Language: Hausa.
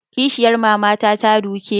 Kishiyar mama na ta duke ni